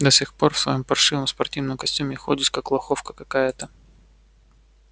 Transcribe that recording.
до сих пор в своём паршивом спортивном костюме ходишь как лоховка какая-то